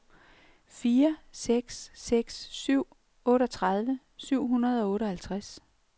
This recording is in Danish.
fire seks seks syv otteogtredive syv hundrede og otteoghalvtreds